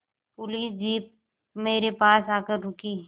police jeep मेरे पास आकर रुकी